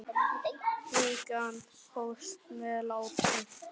Vikan hófst með látum.